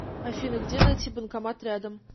афина где найти банкомат рядом